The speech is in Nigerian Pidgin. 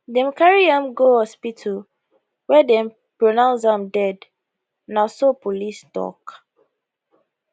dem carry am go hospital wia dem pronounce am dead na so police tok